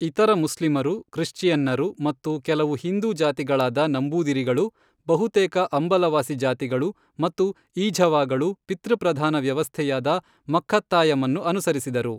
ಇತರ ಮುಸ್ಲಿಮರು, ಕ್ರಿಶ್ಚಿಯನ್ನರು ಮತ್ತು ಕೆಲವು ಹಿಂದೂ ಜಾತಿಗಳಾದ ನಂಬೂದಿರಿಗಳು, ಬಹುತೇಕ ಅಂಬಲವಾಸಿ ಜಾತಿಗಳು ಮತ್ತು ಈಝವಾಗಳು ಪಿತೃಪ್ರಧಾನ ವ್ಯವಸ್ಥೆಯಾದ ಮಕ್ಕಾಥಯಂ ಅನ್ನು ಅನುಸರಿಸಿದರು.